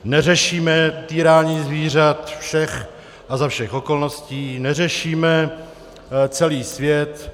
Neřešíme týrání zvířat všech a za všech okolností, neřešíme celý svět.